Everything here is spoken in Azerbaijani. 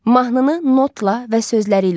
Mahnını notla və sözləri ilə oxuyaq.